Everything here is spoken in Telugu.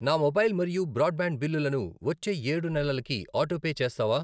నా మొబైల్ మరియు బ్రాడ్ బ్యాండ్ బిల్లులను వచ్చే ఏడు నెలలకి ఆటోపే చేస్తావా?